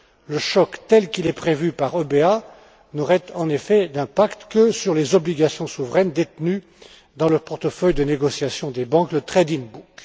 Le choc tel qu'il est prévu par l'EBA n'aurait en effet d'impact que sur les obligations souveraines détenues dans le portefeuille de négociation des banques, le trading book.